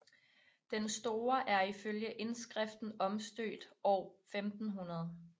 Den store er ifølge indskriften omstøbt år 1500